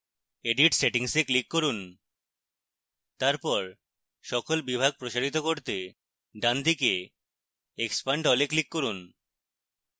edit settings এ click করুন তারপর সকল বিভাগ প্রসারিত করতে ডানদিকে expand all এ click করুন